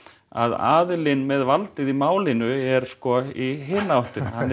að aðilinn með valdið í málinu er sko í hina áttina hann